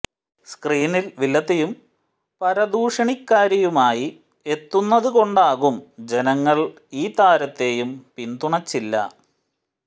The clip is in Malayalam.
സ്ക്രീനിൽ വില്ലത്തിയും പരദൂഷണിക്കാരിയുമായി എത്തുന്നതു കൊണ്ടാകും ജനങ്ങൾ ഈ താരത്തെയും പിന്തുണച്ചില്ല